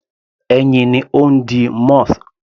Ẹyin ni ó ń di moth.